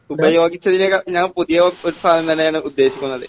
ഉപയോഗിച്ചതിനേക്കാൾ ഞാൻ പുതിയ ഒരു ഒരു സാധനം തന്നെയാണ് ഉദ്ദേശിക്കുന്നത്.